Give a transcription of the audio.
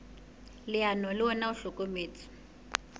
leano le ona o hlokometse